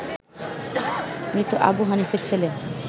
মৃত আবু হানিফের ছেলে